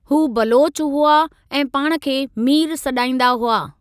हू बलोच हुआ ऐं पाण खे मीर सॾाईंदा हुआ।